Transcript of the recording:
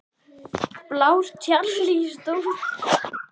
Blár ruslagámur stóð í innkeyrslunni við einbýlishús